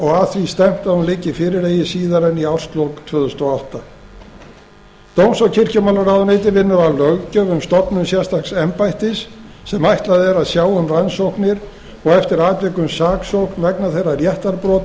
og að því stefnt að hún liggi fyrir eigi síðar en í árslok tvö þúsund og átta dóms og kirkjumálaráðuneytið vinnur að löggjöf um stofnun sérstaks embættis sem ætlað er að sjá um rannsóknir og eftir atvikum saksókn vegna þeirra réttarbrota sem